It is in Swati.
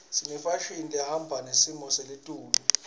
senefashini lehamba nesimo seletulu